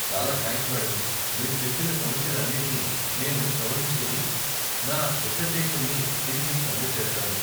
చాలా thanks madam , మీరు చెప్పిన సమస్యలన్నింటినీ నేను సవరించుకుని, నా డిసర్టేషన్ని తిరిగి సబ్మిట్ చేస్తాను.